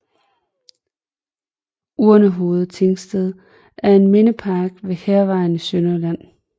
Urnehoved Tingsted er en mindepark ved Hærvejen i Sønderjylland